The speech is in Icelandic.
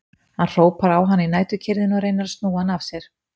Hann hrópar á hann í næturkyrrðinni og reynir að snúa hann af sér.